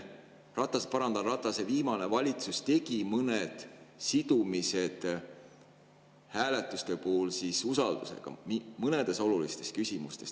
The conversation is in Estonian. Ratase viimane valitsus tegi mõned sidumised usaldus mõnedes olulistes küsimustes.